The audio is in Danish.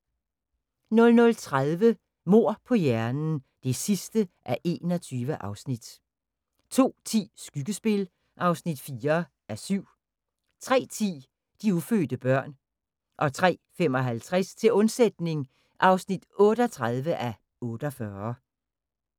00:30: Mord på hjernen (21:21) 02:10: Skyggespil (4:7) 03:10: De ufødte børn 03:55: Til undsætning (38:48)